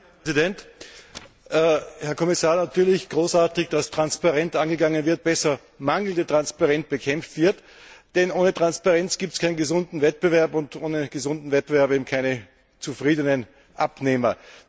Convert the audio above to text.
Herr Präsident, Herr Kommissar! Natürlich großartig, dass das transparent angegangen wird, besser dass mangelnde Transparenz bekämpft wird, denn ohne Transparenz gibt es keinen gesunden Wettbewerb und ohne gesunden Wettbewerb keine zufriedenen Abnehmer.